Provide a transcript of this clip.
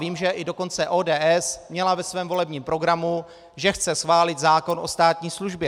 Vím, že i dokonce ODS měla ve svém volebním programu, že chce schválit zákon o státní službě.